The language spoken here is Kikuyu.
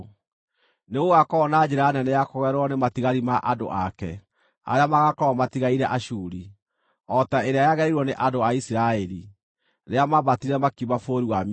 Nĩgũgakorwo na njĩra nene ya kũgererwo nĩ matigari ma andũ ake arĩa magaakorwo matigaire Ashuri, o ta ĩrĩa yagereirwo nĩ andũ a Isiraeli rĩrĩa maambatire makiuma bũrũri wa Misiri.